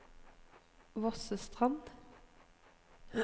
Vossestrand